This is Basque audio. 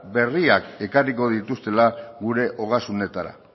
berriak ekarriko dituztela gure ogasunetara